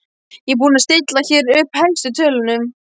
Ég er búin að stilla hér upp helstu tölunum.